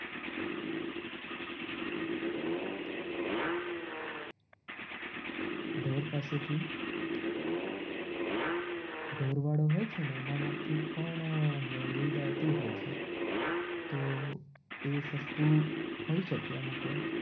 ઢોર પાસેથી ઢોરવાડો હોય છે. ને એનામાંથી પણ દૂધ આવતું હોય છે. તો એ સસ્તું હોઈ શકે અમુક વાર